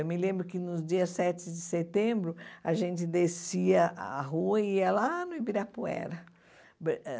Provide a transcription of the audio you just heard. Eu me lembro que, nos dias sete de setembro, a gente descia a rua e ia lá no Ibirapuera. Eh